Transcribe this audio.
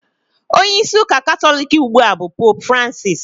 Onyeisi ụka Katọlik ugbua bụ Poopu Francisi